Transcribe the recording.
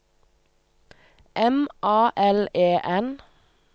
M A L E N